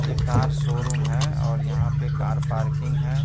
एक car showroom है और यहां पे कार पार्किंग है।